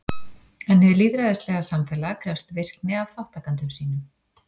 En hið lýðræðislega samfélag krefst virkni af þátttakendum sínum.